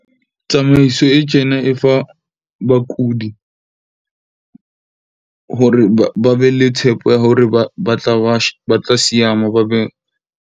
Tsamaiso e tjena e fa bakudi hore ba be le tshepo ya hore ba tla ba ba tla seama ba be.